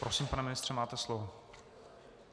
Prosím, pane ministře, máte slovo.